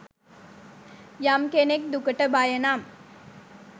යම් කෙනෙක් දුකට බය නම්